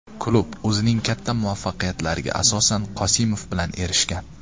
Klub o‘zining katta muvaffaqiyatlariga asosan Qosimov bilan erishgan.